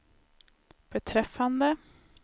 beträffande